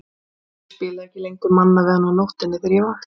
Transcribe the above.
Ég spilaði ekki lengur Manna við hann á nóttunni þegar ég vakti.